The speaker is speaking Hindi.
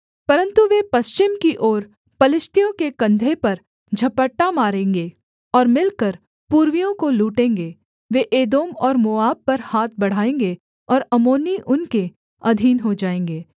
परन्तु वे पश्चिम की ओर पलिश्तियों के कंधे पर झपट्टा मारेंगे और मिलकर पूर्वियों को लूटेंगे वे एदोम और मोआब पर हाथ बढ़ाएँगे और अम्मोनी उनके अधीन हो जाएँगे